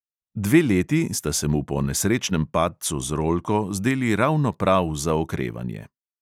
Dve leti sta se mu po nesrečnem padcu z rolko zdeli ravno prav za okrevanje.